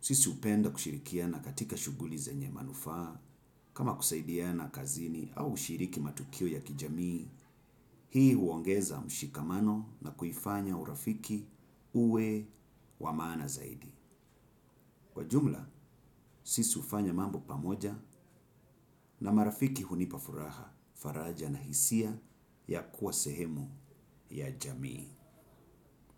sisi hupenda kushirikiana katika shughuli zenye manufaa kama kusaidiana kazini au ushiriki matukio ya kijamii. Hii huongeza mshikamano na kuifanya urafiki uwe wa maana zaidi. Kwa jumla, sisi hufanya mambo pamoja na marafiki hunipa furaha, faraja na hisia ya kuwa sehemu ya jamii.